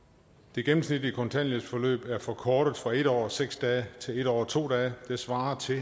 det gennemsnitlige kontanthjælpsforløb er forkortet fra en år og seks dage til en år og to dage det svarer til